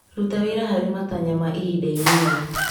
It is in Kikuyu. Ruta wĩra harĩ matanya ma ihinda inini.